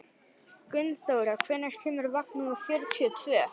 Gunnþóra, hvenær kemur vagn númer fjörutíu og tvö?